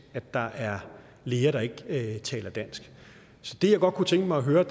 at der er læger der ikke taler dansk det jeg godt kunne tænke mig at høre er